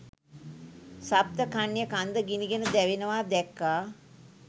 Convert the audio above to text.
සප්ත කන්‍යා කන්ද ගිනිගෙන දැවෙනවා දැක්කා.